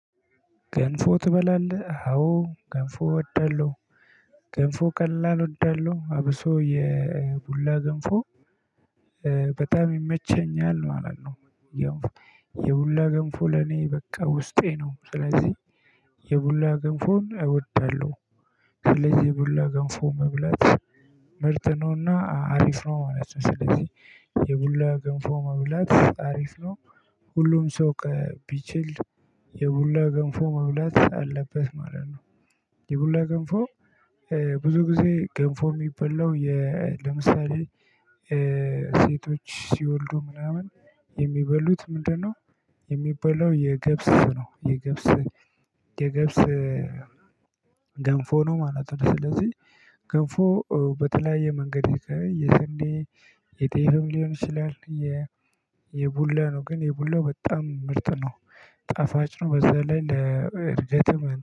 ገንፎ ትበላለህ አዎ ገንፎ እወዳለሁ ገንፎ ቀላል እወዳለሁ አብሶ የቡላ ገንፎ በጣም ይመቸኛል ማለት ነው። የቡላ ገንፎ ለኔ በቃ ውስጤ ነው ስለዚህ የቡላ ገንፎን እወዳለሁ። ስለዚህ የቡላ ገንፎ መብላት ምርጥ ነውና አሪፍ ነው ማለት ነው። ስለዚህ የቡላ ገንፎ መብላት አሪፍ ነው። ሁሉም ሰው ቢችል የቡላ ገንፎ መብላት አለበት ማለት ነው። የቡላ ገንፎ ብዙ ጊዜ ገንፎ የሚበላው የ ለምሳሌ ሴቶች ሲወልዱ ምናምን የሚበሉት ምንድነው? የሚበላው የገብስ ነው የገብስ የገብስ ገንፎ ነው ማለት ነው። ስለዚህ ገንፎ በተለያየ መንገድ የሰንዴ የጤፍም ሊሆን ይችላል። የቡላ ነው ግን የቡላ በጣም ምርጥ ነው ጣፋጭ ነው። በዛ ላይ ለእርገት